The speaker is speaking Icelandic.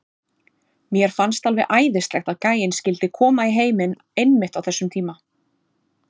Mér fannst alveg æðislegt að gæinn skyldi koma í heiminn einmitt á þessum tíma.